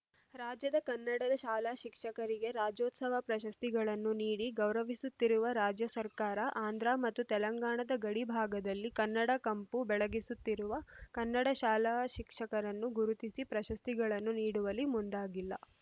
ರಾಜ್ಯದ ಕನ್ನಡ ಶಾಲಾ ಶಿಕ್ಷಕರಿಗೆ ರಾಜ್ಯೋತ್ಸವ ಪ್ರಶಸ್ತಿಗಳನ್ನು ನೀಡಿ ಗೌರವಿಸುತ್ತಿರುವ ರಾಜ್ಯ ಸರ್ಕಾರ ಆಂಧ್ರ ಮತ್ತು ತೆಲಂಗಾಣದ ಗಡಿ ಭಾಗದಲ್ಲಿ ಕನ್ನಡದ ಕಂಪು ಬೆಳಗಿಸುತ್ತಿರುವ ಕನ್ನಡ ಶಾಲಾ ಶಿಕ್ಷಕರನ್ನು ಗುರುತಿಸಿ ಪ್ರಶಸ್ತಿಗಳನ್ನು ನೀಡುವಲ್ಲಿ ಮುಂದಾಗಿಲ್ಲ